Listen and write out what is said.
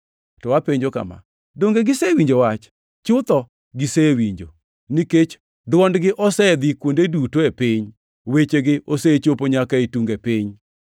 To apenjo kama: Donge gisewinjo wach? Chutho, gisewinjo, nikech, “Dwondgi osedhi kuonde duto e piny, wechegi osechopo nyaka e tunge piny.” + 10:18 \+xt Zab 19:4\+xt*